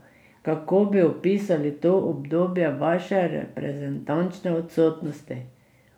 Kako bi opisali to obdobje vaše reprezentančne odsotnosti?